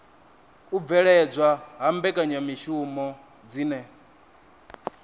u bveledzwa ha mbekanyamishumo dzine